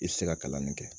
I tɛ se ka kalan nin kɛ